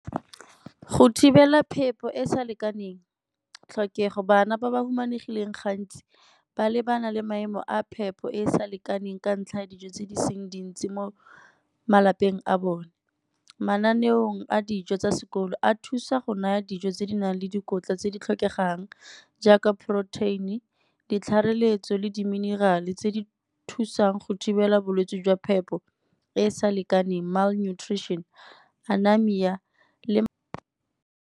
Go thibela phepo e e sa lekaneng, tlhokego bana ba ba humanegileng gantsi ba lebana le maemo a phepo e e sa lekaneng ka ntlha ya dijo tse di seng dintsi mo malapeng a bone. Mananeong a dijo tsa sekolo a thusa go naya dijo tse di nang le dikotla tse di tlhokegang, jaaka protein-e ditlhareletso le di-mineral-e tse di thusang go thibela bolwetse jwa phepo e e sa lekaneng malnutrition, le.